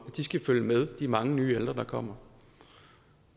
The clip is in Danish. skal følge med de mange nye ældre der kommer